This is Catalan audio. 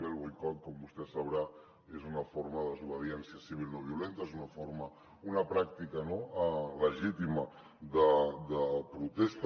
bé el boicot com vostè deu saber és una forma de desobediència civil no violenta és una pràctica legítima de protesta